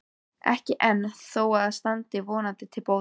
Ekki enn, þó það standi vonandi til bóta.